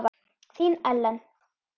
Þín, Ellen.